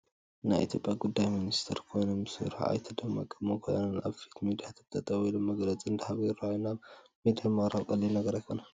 ናይ ኢትዮጵያ ጉዳይ ሚኒስተር ኮይኖም ዝሰርሑ ኣይተ ደመቀ መኰንን ኣብ ፊት ሚድያታት ጠጠው ኢሎም መግለፂ እንትህቡ ይርአዩ ኣለዉ፡፡ ናብ ሚድያ ምቕራብ ቀሊል ነገር ኣይኮነን፡፡